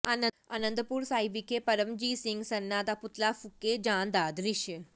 ਆਨੰਦਪੁਰ ਸਾਹਿਬ ਵਿਖੇ ਪਰਮਜੀਤ ਸਿੰਘ ਸਰਨਾ ਦਾ ਪੁਤਲਾ ਫੂਕੇ ਜਾਣ ਦਾ ਦ੍ਰਿਸ਼